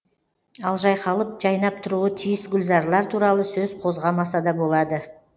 ал жайқалып жайнап тұруы тиіс гүлзарлар туралы сөз қозғамаса да болады